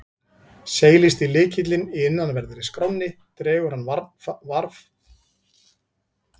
Seilist í lykilinn í innanverðri skránni, dregur hann varfærnislega út og bakkar út úr herberginu.